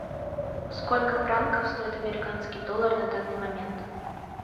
сколько франков стоит американский доллар на данный момент